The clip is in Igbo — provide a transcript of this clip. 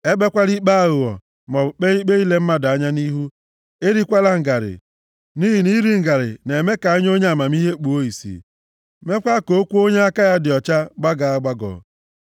Ekpekwala ikpe aghụghọ, maọbụ kpee ikpe ile mmadụ anya nʼihu. Erikwala ngarị, nʼihi na iri ngarị na-eme ka anya onye amamihe kpuo ìsì, meekwa ka okwu onye aka ya dị ọcha gbagọọ agbagọ.